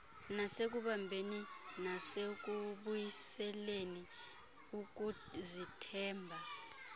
ngasekubumbeni nasekubuyiseleni ukuzithemba